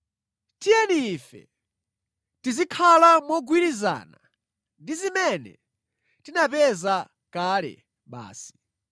Tiyeni ife tizikhala mogwirizana ndi zimene tinapeza kale basi.